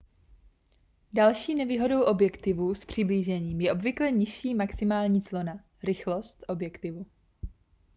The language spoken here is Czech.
další nevýhodou objektivů s přiblížením je obvykle nižší maximální clona rychlost objektivu